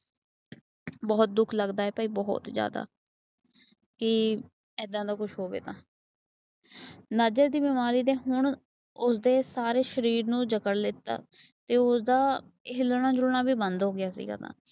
ਬਹੁਤ ਦੁੱਖ ਲੱਗਦਾ ਭਾਈ ਬਹੁਤ ਜਿਆਦਾ। ਕਿ ਏਦਾਂ ਦਾ ਕੁਛ ਹੋਵੇ ਤਾਂ। ਨਜ਼ਰ ਦੀ ਬਿਮਾਰੀ ਹੁਣ ਉਸਦੇ ਸਾਰੇ ਸ਼ਰੀਰ ਨੂੰ ਜਕੜ ਲਿੱਤਾ। ਤੇ ਹਿੱਲਣਾ ਜੁਲਨਾ ਵੀ ਬੰਦ ਹੋ ਗਿਆ ਸੀ ਗਾ।